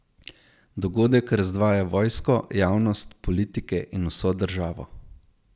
Dogodek razdvaja vojsko, javnost, politike in vso državo.